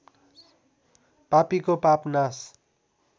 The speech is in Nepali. पापीको पाप नाश